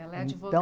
Ela é advogada.